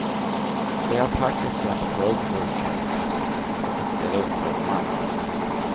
De är praktexempel på ödmjukhet och att ställa upp för de andra.